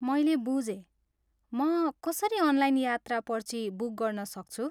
मैले बुझेँ! म कसरी अनलाइन यात्रा पर्ची बुक गर्न सक्छु?